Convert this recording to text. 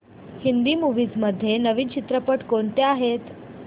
Hindi movies मध्ये नवीन चित्रपट कोणते आहेत